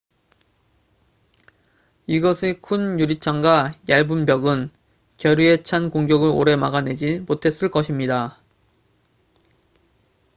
이것의 큰 유리창과 얇은 벽은 결의에 찬 공격을 오래 막아내지 못했을 것입니다